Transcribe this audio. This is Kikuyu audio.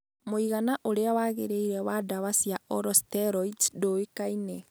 mũigana ũrĩa wagĩrĩire wa ndawa cia oral steroids ndũĩkaine.